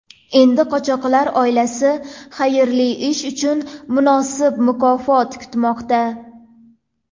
Endi qochoqlar oilasi xayrli ish uchun munosib mukofot kutmoqda.